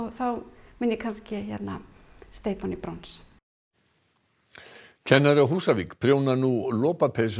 þá mun ég steypa hann í brons kennari á Húsavík prjónar nú lopapeysu